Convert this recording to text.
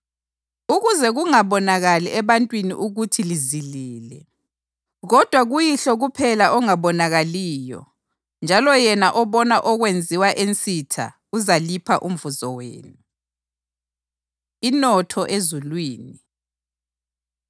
ukuze kungabonakali ebantwini ukuthi lizilile, kodwa kuYihlo kuphela ongabonakaliyo njalo yena obona okwenziwa ensitha uzalipha umvuzo wenu.” Inotho Ezulwini